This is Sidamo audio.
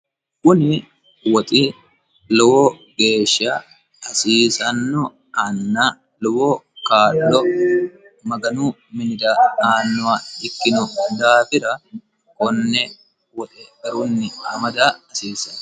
kuni woxi hasiisanno anna lowo kaa'lo maganu minira aannoha ikkiro daafira konne woxe garunni amada hasiissanno.